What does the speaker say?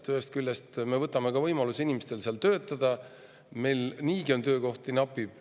Ühest küljest me võtame inimestelt võimaluse seal töötada ja meil niigi töökohti napib.